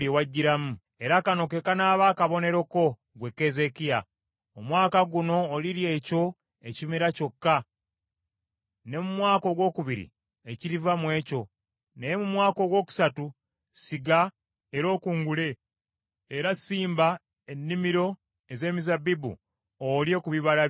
“Era kano ke kanaaba akabonero ko, ggwe Keezeekiya. “Omwaka guno olirya ekyo ekimera kyokka, ne mu mwaka ogwokubiri ekiriva mw’ekyo. Naye mu mwaka ogwokusatu siga era okungule; era simba ennimiro ez’emizabbibu, olye ku bibala bya kwo.